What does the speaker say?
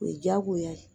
O ye jagoya ye